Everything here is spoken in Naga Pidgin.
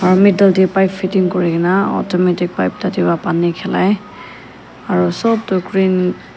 aro middle tae pipe fitting kurikae na automatic pipe tatae pa pani khilai aro sop tu green .